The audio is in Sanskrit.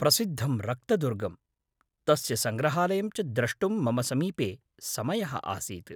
प्रसिद्धं रक्तदुर्गं, तस्य सङ्ग्रहालयं च द्रष्टुं मम समीपे समयः आसीत्।